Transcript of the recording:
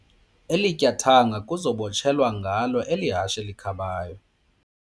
Eli tyathanga kuza kubotshelelwa ngalo eli hashe likhabayo.